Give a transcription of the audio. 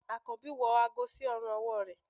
akanbi wọ àgó sí òrùn ọwọ